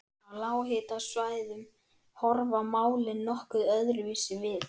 Á lághitasvæðum horfa málin nokkuð öðruvísi við.